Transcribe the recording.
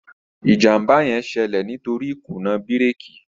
ìjàmbá yén ṣẹlẹ nítorí ikuna bírékì